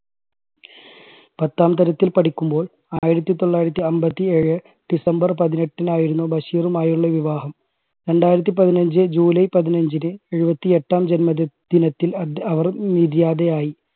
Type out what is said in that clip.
പത്താം തരത്തിൽ പഠിക്കുമ്പോൾ ആയിരത്തി തൊള്ളായിരത്തി അൻപത്തി ഏഴ് december പതിനെട്ടിനായിരുന്നു ബഷീറുമായുള്ള വിവാഹം. രണ്ടായിരത്തി പതിനഞ്ച് july പതിനഞ്ചിന് എഴുപത്തി എട്ടാം ജന്മദി~ദിനത്തിൽ അവർ നിര്യാതയായി.